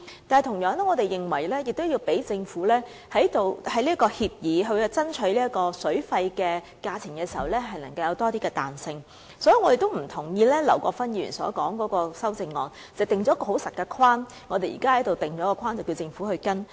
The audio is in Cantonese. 我們同樣認為，要為政府就協議爭取較理想水費時留有更多彈性，所以也不同意劉國勳議員的修正案，因為當中訂定了一個很刻板的框架，要求政府跟隨。